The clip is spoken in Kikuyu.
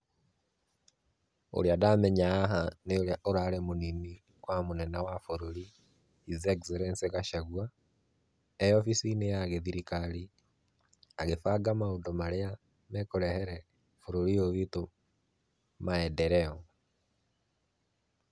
Ũrĩa ndamenya haha nĩ ũrĩa ũrarĩ mũnini wa mũnene wa bũrũri, His Excellency Gacagua, e obicini-inĩ ya gĩthirikari, agĩbanga maũndũ marĩa mekũrehere bũrũri ũyũ witũ maendeleo.